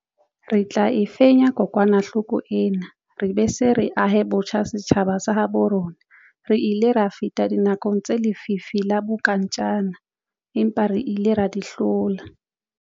Re tla e fenya kokwanahloko ena re be re se ahe botjha setjhaba sa habo rona. Re ile ra feta dinakong tsa lefifi la bonkantjana empa re ile ra di hlola.